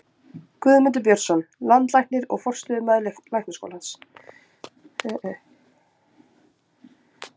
Guðmundur Björnsson, landlæknir og forstöðumaður Læknaskólans.